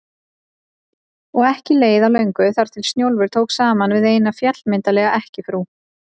Og ekki leið á löngu þar til Snjólfur tók saman við eina, fjallmyndarlega ekkjufrú